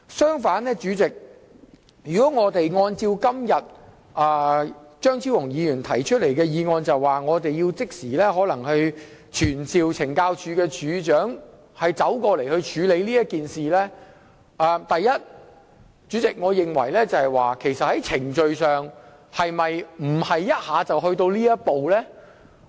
相反，若按照張超雄議員今天提出的議案，即時傳召懲教署署長到立法會席前處理事件，首先，我認為在程序上是否不應一下子跳到這一步？